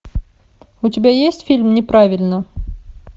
у тебя есть фильм неправильно